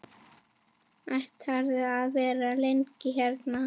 Ætlarðu að vera lengi hérna?